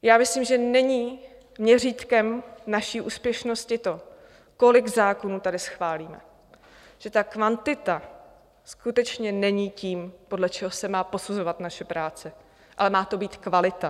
Já myslím, že není měřítkem naší úspěšnosti to, kolik zákonů tady schválíme, že ta kvantita skutečně není tím, podle čeho se má posuzovat naše práce, ale má to být kvalita.